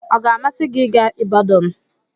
Ọ ga-amasị gị ịga Ibadan?